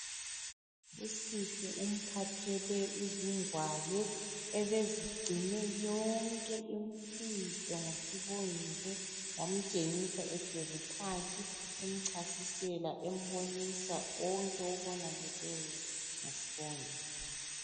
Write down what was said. Usihle umphathele izingwalo ebezigcine yonke imfihlo ngoSibongile. Wamtshengisa ehlezi phansi emchasisela embonisa konke okonakeleyo ngo Sibongile.